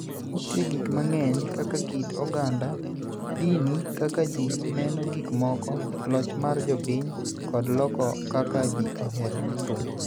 Nitie gik mang'eny, kaka kit oganda, dini, kaka ji neno gik moko, loch mar jopiny kod loko kaka ji ohero thum.